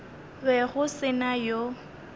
be go se na yo